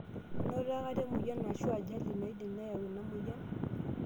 Inoto akata emoyian aashu ajali naidim neyawua ena moyian?